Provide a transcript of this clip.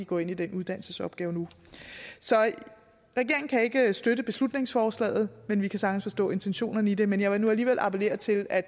går ind i den uddannelsesopgave nu regeringen kan ikke støtte beslutningsforslaget men vi kan sagtens forstå intentionerne i det men jeg vil nu alligevel appellere til at